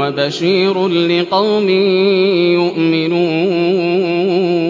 وَبَشِيرٌ لِّقَوْمٍ يُؤْمِنُونَ